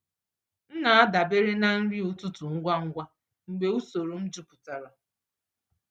M na-adabere na nri ụtụtụ ngwa ngwa mgbe usoro m jupụtara.